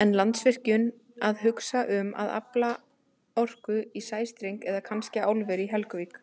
En Landsvirkjun að hugsa um að afla orku í sæstreng eða kannski álveri í Helguvík?